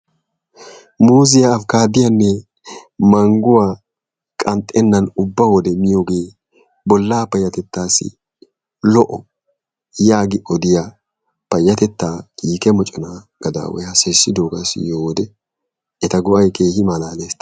Muuziyaa abikkaaddiyanne mangguwa qanxxenaan ubba wode miyogee bolla payatettaassi lo'o yaagi odiya payatettaa kiikke moccona gadaaway haasayissiddoogaa diyo wode eta go'ay keehi malaalees.